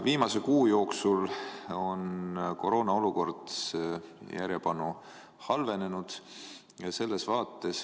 Viimase kuu jooksul on koroonaolukord järjepanu halvenenud.